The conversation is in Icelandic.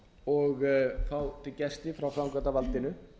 og fá gesti frá framkvæmdarvaldinu